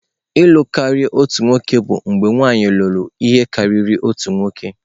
Ịlū karia otu nwoke bụ mgbe nwanyị lụrụ ihe karịrị otu nwoke.